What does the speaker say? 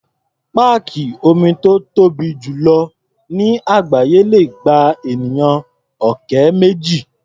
Páàkì omi tó tóbi jù lọ ní àgbááyé le gba ènìyàn ọ̀kẹ́ méjì.